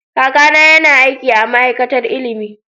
Kakana yana aiki a ma'aikatar ilimi.